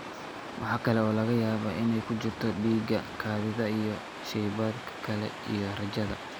Waxa kale oo laga yaabaa inay ku jirto dhiigga, kaadida, iyo shaybaadhka kale iyo raajada.